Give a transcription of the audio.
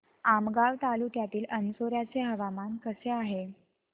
आमगाव तालुक्यातील अंजोर्याचे हवामान कसे आहे